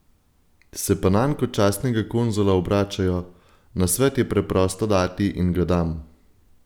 Se pa nanj kot častnega konzula obračajo: "Nasvet je preprosto dati in ga dam.